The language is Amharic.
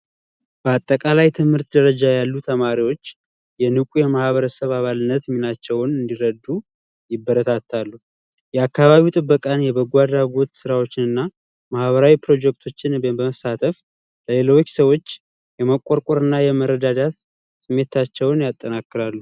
በአጠቃላይ ትምህርት ደረጃ ያሉ ሰዎች የንቁየማህበረሰብ አባልነት ሚናቸውን እንዲረዱ ይበረታታሉ። የአካባቢ ጥበቃን የበጎ አድራጎት ስራዎችን ፣ማህበራዊ ፕሮጀክቶችን በመሳተፍ ለሌሎች ሰዎች የመቆርቆር እና የመረዳዳት ስሜታቸውን ያጠናቅራሉ።